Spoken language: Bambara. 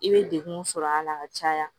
I bɛ degun sɔrɔ a la ka caya